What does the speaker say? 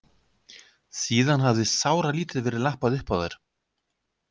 Síðan hafði sáralítið verið lappað uppá þær.